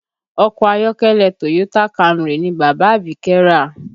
Ọkọ̀ ayọ́kẹ́lẹ́ Toyota Camry ni bàbá Abike rà